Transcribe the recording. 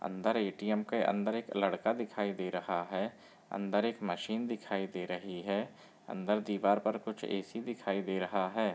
अंदर ए.टी.एम. के अंदर एक लड़का दिखाई दे रहा है। अंदर एक मशीन दिखाई दे रही है। अंदर दीवार पर कुछ ए.सी. दिखाई दे रहा है।